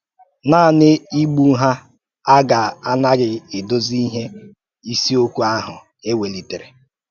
Nànị́ ígbù hà á gà-ànàgị̀ èdòzì íhè ìsèokwu ahụ̀ è wèlítèrè.